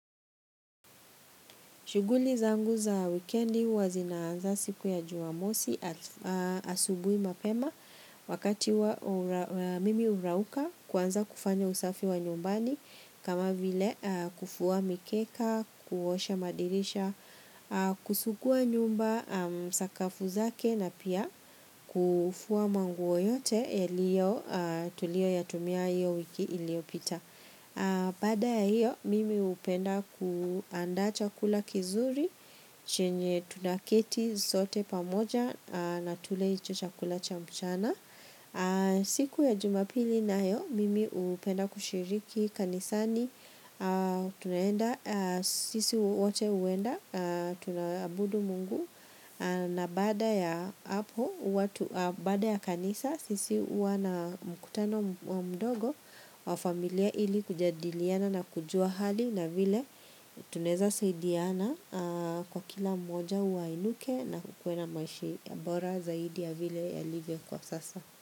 Shuguli zangu za wikendi huwa zinaanza siku ya jumamosi asubui mapema wakati wa mimi urauka kuanza kufanya usafi wa nyumbani kama vile kufua mikeka, kuosha madirisha, kusugua nyumba, sakafu zake na pia kufua mangua yote yaliyo tulio yatumia hiyo wiki iliopita. Bada ya hiyo, mimi hupenda kuandaa chakula kizuri chenye tunaketi sote pamoja na tule hicho chakula cha mchana siku ya jumapili nayo, mimi hupenda kushiriki kanisani sisi wote huenda, tunaabudu mungu na baada ya kanisa sisi huwa na mkutano mdogo wa familia ili kujadiliana na kujua hali na vile tunaeza saidiana kwa kila mmoja wainuke na kukue maishi ya bora zaidi ya vile yalivyo kwa sasa.